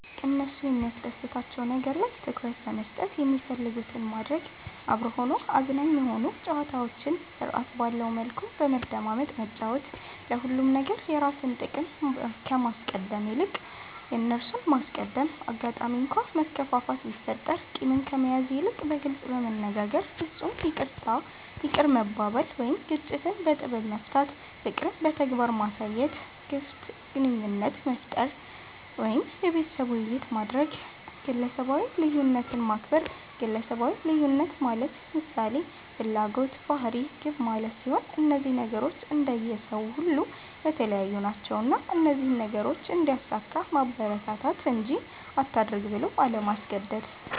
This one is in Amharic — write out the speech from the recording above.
እነሱ የሚያስደስታቸዉ ነገር ላይ ትኩረት በመስጠት የሚፈልጉትን ማድረግ፤ አብሮ ሆኖ አዝናኝ የሆኑ ጨዋታዎችን ስርዐት ባለዉ መልኩ በመደማመጥ መጫወት፤ ለሁሉም ነገር የራስን ጥቅም ከማስቀደም ይልቅ የእነርሱን ማስቀደም፣ አጋጣሚ እንኳ መከፋፋት ቢፈጠር ቂምን ከመያዝ ይልቅ በግልጽ በመነጋገር በፍፁም ይቅርታ ይቅር መባባል ወይም ግጭትን በጥበብ መፍታት፣ ፍቅርን በተግባር ማሳየት፣ ግፍት ግንኙነት መፍጠር ወይም የቤተሰብ ዉይይት ማድረግ፣ ግለሰባዊ ልዩነትን ማክበር ግለሰባዊ ልዩነት ማለት ምሳሌ፦ ፍላጎት፣ ባህሪ፣ ግብ ማለት ሲሆን እነዚህ ነገሮች እንደየ ሰዉ ሁሉ የተለያዩ ናቸዉና እነዚህን ነገሮች እንዲያሳካ ማበረታታት እንጂ አታድርግ ብሎ አለማስገደድ።